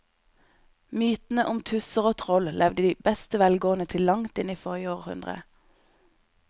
Mytene om tusser og troll levde i beste velgående til langt inn i forrige århundre.